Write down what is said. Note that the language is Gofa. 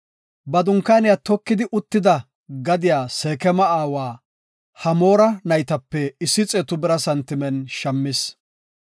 Ba dunkaaniya tokidi uttida gadiya Seekema aawa Hamoora naytape issi xeetu bira santimen shammis.